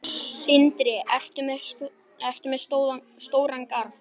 Sindri: Ertu með stóran garð?